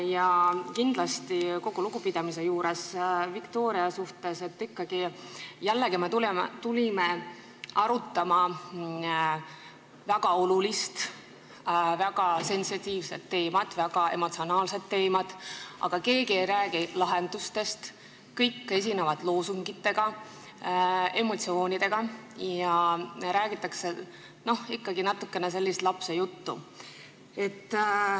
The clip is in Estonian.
Hoolimata kogu lugupidamisest Viktoria vastu, ütlen, et me tulime ikkagi arutama väga olulist, väga sensitiivset, väga emotsionaalset teemat, aga keegi ei räägi lahendustest, kõik esinevad loosungitega ja väljendavad emotsioone ning räägitakse natukene sellist lapsejuttu.